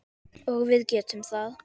Og við getum það.